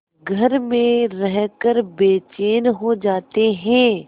घर में रहकर बेचैन हो जाते हैं